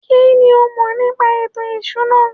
kínní o mọ̀ nípa ètò ìṣúná?